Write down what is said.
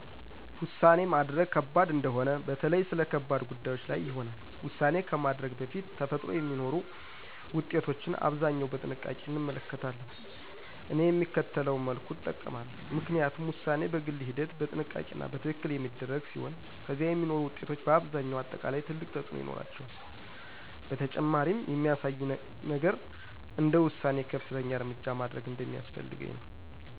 ውሳኔ ማድረግ ከባድ እንደሆነ በተለይ ስለ ከባድ ጉዳዮች ላይ ይሆናል። ውሳኔ ከማድረግ በፊት ተፈጥሮ የሚኖሩ ውጤቶችን አብዛኛው በጥንቃቄ እንመለከታለን። እኔ የሚከተለውን መልኩ እጠብቃለሁ፣ ምክንያቱም ውሳኔ በግል ሂደት፣ በጥንቃቄ እና በትክክል የሚደረግ ሲሆን ከዚያ የሚኖሩ ውጤቶች በአብዛኛው አጠቃላይ ትልቅ ተፅእኖ ይኖራቸዋል። በተጨማሪም የሚያሳየኝ ነገር እንደ ውሳኔዬ ከፍተኛ እርምጃ ማድረግ እንደሚያስፈልገኝ ነው።